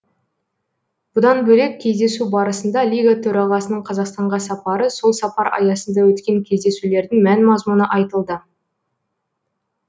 бұдан бөлек кездесу барысында лига төрағасының қазақстанға сапары сол сапар аясында өткен кездесулердің мән мазмұны айтылды